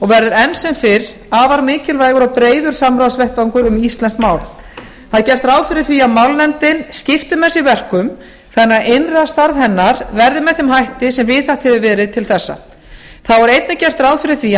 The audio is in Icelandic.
verður enn sem fyrr afar mikilvægur og breiður samráðsvettvangur um íslenskt mál það er gert ráð fyrir því að málnefndin skipti með sér verkum þannig að innra starf hennar verði með þeim hætti sem viðhaft hefur verið til þessa þá er einnig gert ráð fyrir því að